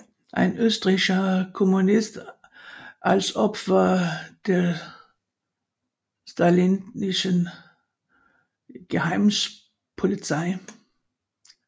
Ein österreichischer Kommunist als Opfer der stalinistischen Geheimpolizei